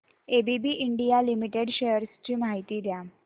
ABB India limited shares ची माहिती द्या